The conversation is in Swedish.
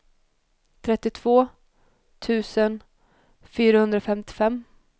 trettiotvå tusen fyrahundrafemtiofem